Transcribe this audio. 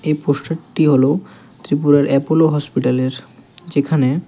এই পোস্টারটি হলো ত্রিপুরার অ্যাপেলো হসপিটালের যেখানে--